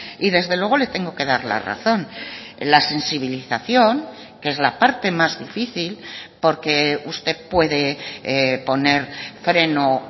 y desde luego le tengo que dar la razón la sensibilización que es la parte más difícil porque usted puede poner freno